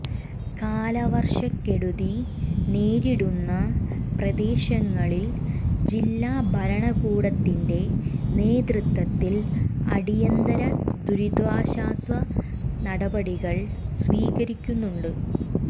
കാലവർഷക്കെടുതി നേരിടുന്ന പ്രദേശങ്ങളിൽ ജില്ലാ ഭരണകൂടത്തിൻ്റെ നേതൃത്വത്തിൽ അടിയന്തര ദുരിതാശ്വാസ നടപടികൾ സ്വീകരിക്കുന്നുണ്ട്